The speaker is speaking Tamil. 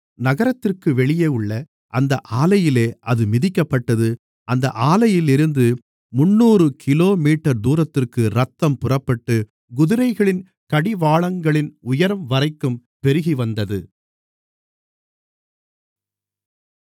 நகரத்திற்கு வெளியே உள்ள அந்த ஆலையிலே அது மிதிக்கப்பட்டது அந்த ஆலையிலிருந்து முந்நூறு கிலோமீட்டர் தூரத்திற்கு இரத்தம் புறப்பட்டு குதிரைகளின் கடிவாளங்களின் உயரம்வரைக்கும் பெருகிவந்தது